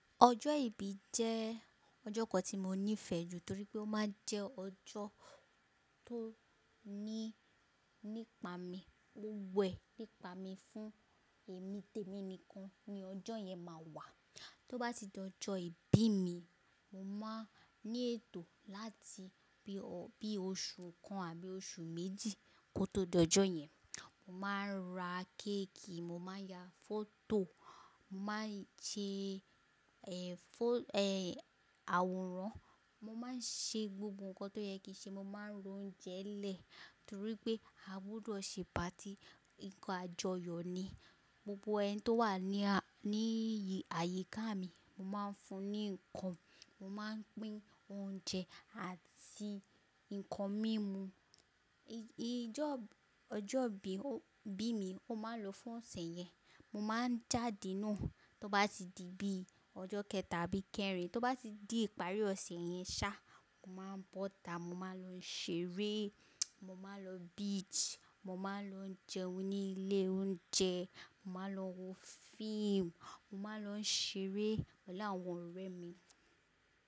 Ọjọ́ ìbí jẹ́ ọjọ́ kan tí mo nífẹ̀ẹ́ jù torí pé ó máa ń jẹ́ ọjọ́ tó ní nípa mi. Ó wẹ̀ nípa mi. Fún èmi, tèmi nìkan ni ọjọ́ yẹn máa wà. Tí ó bá ti di ọjọ́ ìbí mi, mo máa ní ètò láti bí ó bí oṣù kan àbí oṣù méjì kó tó di ọjọ́ yẹn. Mo máa ń ra kéèkì, mo máa ń ya fọ́tò, mo máa ń ṣe, eh, fo-- eh, àwòrán. Mo máa ń ṣe gbogbo nǹkan tó yẹ kí ṣe. Mo máa ń ro oúnjẹ lẹ̀ torí pé a gbọdọ̀ ṣe patí. Nǹkan àjọyọ̀ ni. Gbogbo ẹni tó wà ní a-- ní ayíká mi, mo máa ń fún ní ǹkan. Mo máa pín oúnjẹ àti nǹkan mímu. Ìjọọ-- ọjọ́ ìbí, ìbí mi, ó máa ń lọ fún ọ̀sẹ̀ yẹn. Mo máa ń jáde náà tó bá ti di bí ọjọ́ kẹta àbí kẹrin. Tó bá ti di ìparí ọ̀sẹ̀ yẹn sá, mo máa ń bọ́ta. Mo máa ń lọ ṣeré, mo máa lọ beach, mo máa ń lọ jẹun ní ilé oúnjẹ, mo máa ń lọ wo fíìmù, mo máa ń lọ ṣeré pẹ̀lú àwọn ọ̀rẹ́ mi.